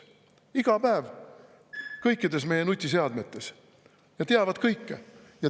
Nad on iga päev kõikides meie nutiseadmetes ja teavad kõike.